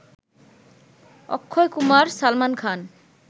Akshay Kumar Salman Khan